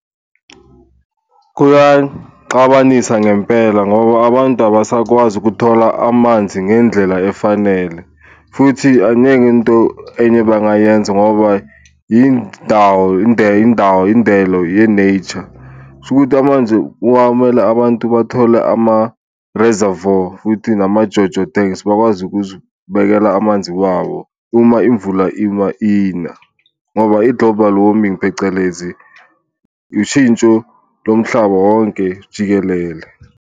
Kuyaxabanisa ngempela ngoba abantu abasakwazi ukuthola amanzi ngendlela efanele futhi into enye abangayenza ngoba yindawo indawo indelo ye-nature, kushukuthi kwamanje kungamele abantu bathole ama-reservoir futhi nama-JoJo tanks. Bakwazi ukuzibekela amanzi wabo uma imvula iba ina ngoba i-global warming, phecelezi ushintsho lomhlaba wonke jikelele.